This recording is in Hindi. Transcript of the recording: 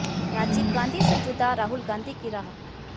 राजीव गांधी से जुदा राहुल गांधी की राह